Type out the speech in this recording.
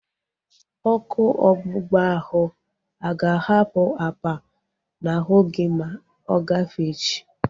Ọkụ ọgbụgba ahu aga ahapụ apa n'ahu gị ma ọ gafee echi?